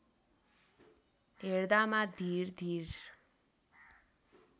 हेर्दामा धिर धिर